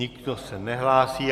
Nikdo se nehlásí.